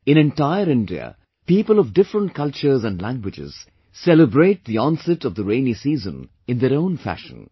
In entire India, people of different cultures and languages, celebrate the onset of rainy season in their own fashion